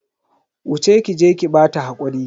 Wuce ki je ki bata hakuri.